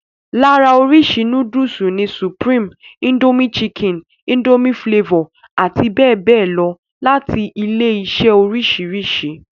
Lára oríṣi núdùsù ni supreme, Indomie chicken, Indomie flavor abbl. láti ilé-iṣẹ́ oríṣiríṣi.